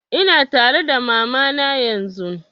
Ina tare da mama na yanzun